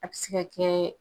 A be se ka kɛ